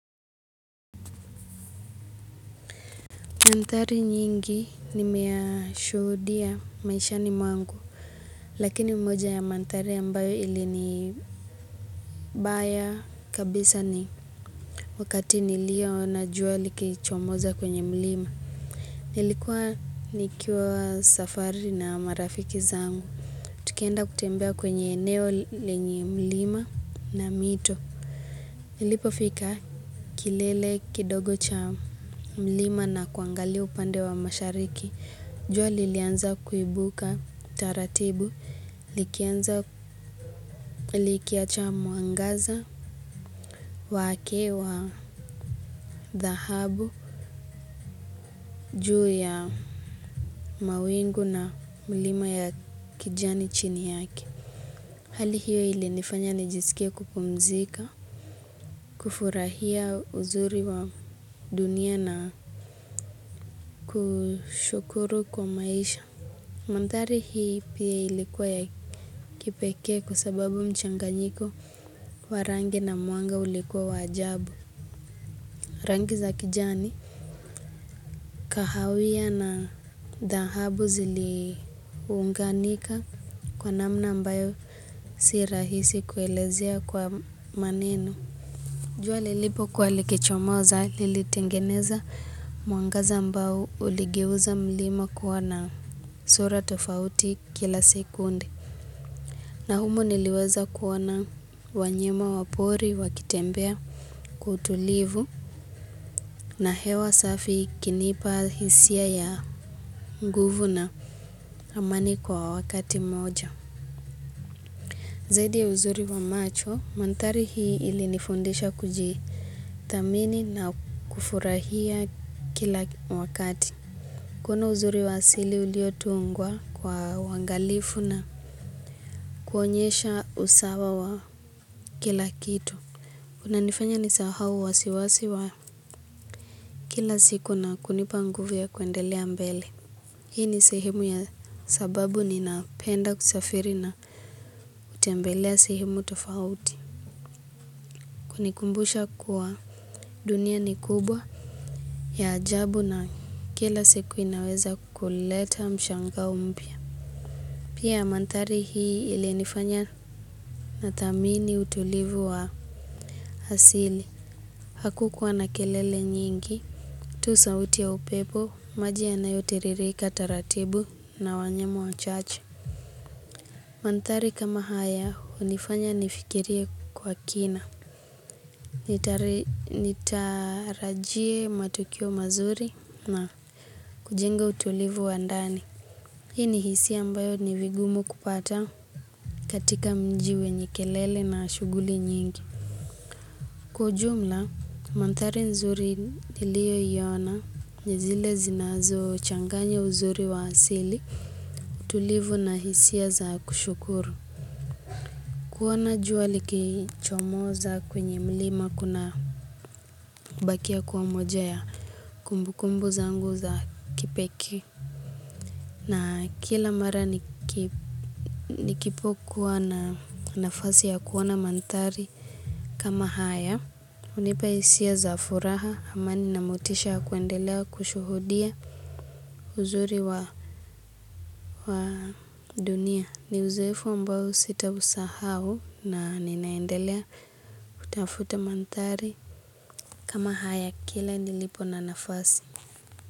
Manthari nyingi nimeyashuhudia maishani mwangu, lakini moja ya manthari ya ambayo ilini baya kabisa ni wakati nilioona jua likichomoza kwenye mlima. Nilikua nikiwa safari na marafiki zangu. Tukienda kutembea kwenye eneo lenye mlima na mito. Nilipofika kilele kidogo cha mlima na kuangalia upande wa mashariki. Jua lilianza kuibuka taratibu, likianza likiacha mwangaza, wake wa dhahabu, juu ya mawingu na mlima ya kijani chini yake. Hali hiyo ilinifanya nijisikie kupumzika, kufurahia uzuri wa dunia na kushukuru kwa maisha. Mandhari hii pia ilikuwa ya kipekee kwa sababu mchanganyiko wa rangi na mwanga ulikua wa ajabu. Rangi za kijani kahawia na dhahabu ziliunganika kwa namna ambayo si rahisi kuelezea kwa maneno. Jua lilipokua likichomoza lilitengeneza mwangaza ambao uligeuza mlima kuwa na sura tofauti kila sekunde. Na humo niliweza kuona wanyama wa pori wakitembea kwa utulivu na hewa safi ikinipa hisia ya nguvu na amani kwa wakati mmoja. Zaidi ya uzuri wa macho, manthari hii ilinifundisha kujithamini na kufurahia kila wakati. Kuona uzuri wa asili uliotungwa kwa uwangalifu na kuonyesha usawa wa kila kitu. Kunanifanya nisahao wasiwasi wa kila siku na kunipa nguvu ya kuendelea mbele. Hii ni sehemu ya sababu ninapenda kusafiri na hutembelea sehemu tofauti. Kunikumbusha kuwa dunia ni kubwa ya ajabu na kila siku inaweza kuleta mshangao mpya. Pia mantari hii ilinifanya nathamini utulivu wa hasili. Hakua na kelele nyingi. Tu sauti ya upepo, maji yanayotiririka taratibu na wanyama wachache. Manthari kama haya, hunifanya nifikirie kwa kina. Nitarajie matukio mazuri na kujenga utulivu wa ndani. Hii ni hisia ambayo ni vigumu kupata katika mji wenye kelele na shughuli nyingi. Kwa ujumla, manthari nzuri niliyoiona ni zile zinazochanganya uzuri wa asili tulivu na hisia za kushukuru. Kuona jua likichomoza kwenye mlima kunabakia kuwa moja ya kumbukumbu zangu za kipekii. Na kila mara nikipokua na nafasi ya kuona manthari. Kama haya hunipa isia za furaha amani na motisha ya kuendelea kushuhudia uzuri wa dunia ni uzoefu ambao sitausahao na ninaendelea kutafuta manthari kama haya kile nilipo na nafasi.